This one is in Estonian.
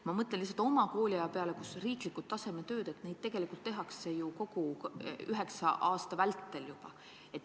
Ma mõtlen oma kooliaja peale: üleriigilisi tasemetöid on ju ikka tehtud kogu üheksa aasta vältel.